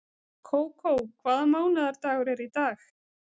Kókó, hvaða mánaðardagur er í dag?